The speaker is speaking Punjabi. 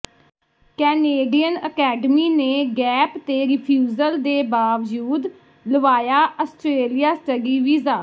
ਕੈਨੇਡੀਅਨ ਅਕੈਡਮੀ ਨੇ ਗੈਪ ਤੇ ਰਿਫ਼ਿਊਜ਼ਲ ਦੇ ਬਾਵਜੂਦ ਲਵਾਇਆ ਆਸਟ੍ਰੇਲੀਆ ਸਟੱਡੀ ਵੀਜ਼ਾ